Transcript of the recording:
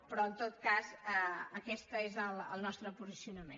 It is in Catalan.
però en tot cas aquest és el nostre posicionament